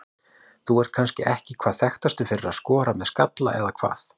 Þú ert kannski ekki hvað þekktastur fyrir að skora með skalla eða hvað?